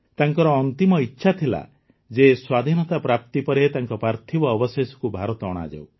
ତାଙ୍କର ଅନ୍ତିମ ଇଚ୍ଛା ଥିଲା ଯେ ସ୍ୱାଧୀନତା ପ୍ରାପ୍ତି ପରେ ତାଙ୍କ ପାର୍ଥିବ ଅବଶେଷକୁ ଭାରତ ଅଣାଯାଉ